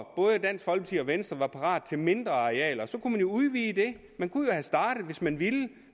venstre var parate til mindre arealer så kunne man jo udvide det man kunne have startet hvis man ville